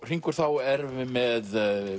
hringur þá erum við með